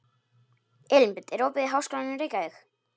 Elínbet, er opið í Háskólanum í Reykjavík?